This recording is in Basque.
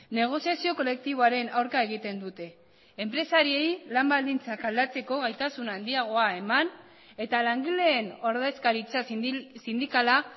negoziazio kolektiboaren aurka egiten dute enpresariei lan baldintzak aldatzeko gaitasun handiagoa eman eta langileen ordezkaritza sindikala